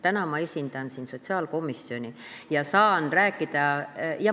Täna ma esindan siin sotsiaalkomisjoni ja saan rääkida ...